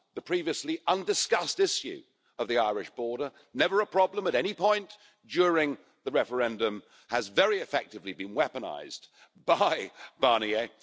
The previously undiscussed issue of the Irish border, never a problem at any point during the referendum, has very effectively been weaponised by Barnier.